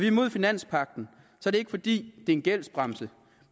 imod finanspagten er det ikke fordi det er en gældsbremse